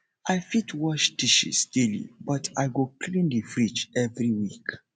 i fit wash dishes daily but i go clean the fridge every week